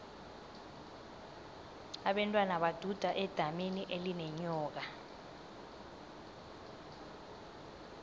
abentwana baduda edamini elinenyoka